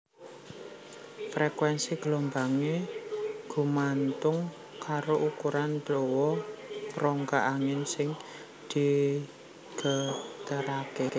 Frekuénsi gelombangé gumantung karo ukuran dawa rongga angin sing digeteraké